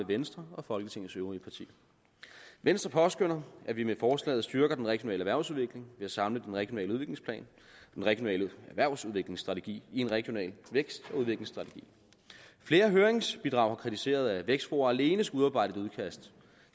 venstre og folketingets øvrige partier venstre påskønner at vi med forslaget styrker den regionale erhvervsudvikling ved at samle den regionale udviklingsplan og den regionale erhvervsudviklingsstrategi i en regional vækst og udviklingsstrategi flere høringsbidrag har kritiseret at vækstfora alene skal udarbejde et udkast